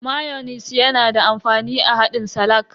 Mayonis na da amfani a haɗin salak.